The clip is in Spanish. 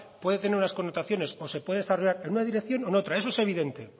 puede tener unas connotaciones o se puede desarrollar en un dirección o en otra eso es evidente